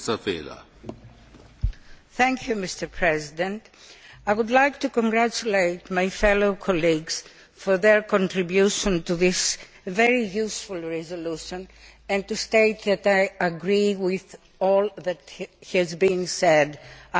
Mr President, I would like to congratulate my colleagues on their contribution to this very useful resolution and to state that I agree with all that has been said so far.